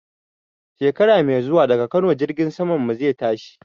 Shekara mai zuwa daga Kano jirgin saman mu zai tashi